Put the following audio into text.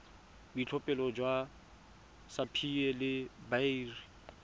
boitlhophelo jwa sapphire le beryl